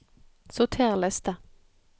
Sorter liste